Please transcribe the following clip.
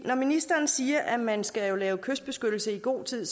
når ministeren siger at man jo skal lave kystbeskyttelse i god tid